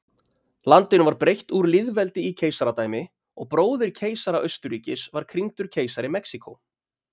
Landinu var breytt úr lýðveldi í keisaradæmi og bróðir keisara Austurríkis var krýndur keisari Mexíkó.